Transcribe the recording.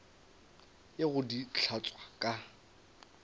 ye go di hlatswa ka